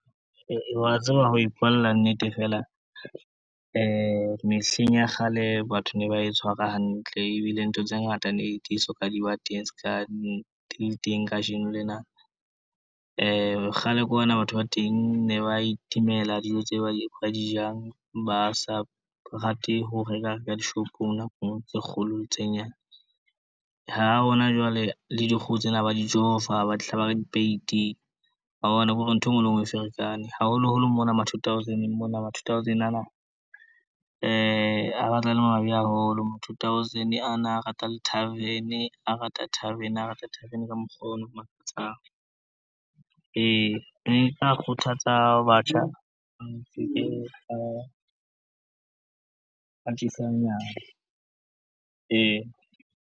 Wa tseba ho ipuela nnete feela mehleng ya kgale batho ne ba e tshwara hantle ebile ntho tse ngata le di so ka di ba teng ska ne di le teng kajeno lena. Kgale kwana batho ba teng ne ba itemela dijo tse ba di jang, ba sa rate ho reka ka dishopong nakong tse kgolo tse nyane. Ha hona jwale le dikgoho tsena ba di tjova, ba dihlaba ka dipeiti wa boba ke hore ntho e ngwe le ngwe e ferekane, haholoholo mona ma two thousand-neng mona ma two thousand ana a batla a le mabe haholo, ma two thousand ana a rata di-tarven, a rata tarven, a rata tarven ka mokgwa ono o makatsang. Ne ke tla kgothatsa batjha .